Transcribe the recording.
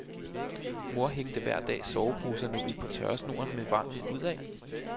Mor hængte hver dag soveposerne ud på tørresnoren med vrangen udad.